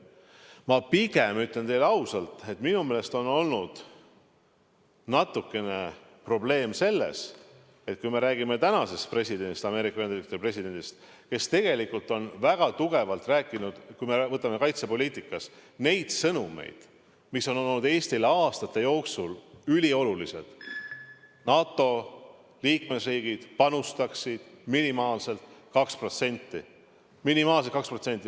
Ma pigem ütlen teile ausalt, et minu meelest on olnud natukene probleem selles, kui me räägime tänasest Ameerika Ühendriikide presidendist, kes on väga tugevalt esitanud, kui me vaatame kaitsepoliitikat, neid sõnumeid, mis on olnud Eestile aastate jooksul üliolulised, et NATO liikmesriigid panustaksid minimaalselt 2%.